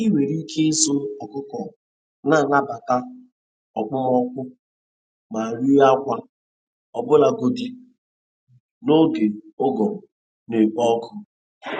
Ị nwere ike ịzụ ọkụkọ na-anabata okpomọkụ ma ree akwa, ọbụlagodi n'oge ụgụrụ na-ekpo ọkụ.